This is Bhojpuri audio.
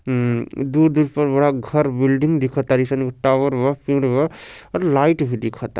हम्म दूर-दूर पर बड़ा-बड़ा घर बिल्डिंग दिखता टॉवर बा फील्ड बा और लाइट भी दिखता।